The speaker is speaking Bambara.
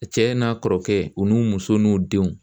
Cɛ n'a kɔrɔkɛ u n'u muso n'u denw